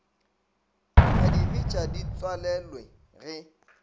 ka dibetša di tswalelwe ge